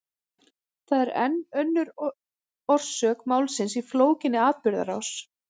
Það er enn önnur orsök málsins í flókinni atburðarás.